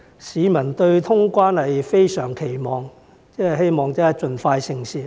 市民對於通關是非常期望的，希望盡快成事。